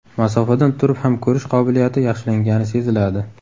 Masofadan turib ham ko‘rish qobiliyati yaxshilangani seziladi.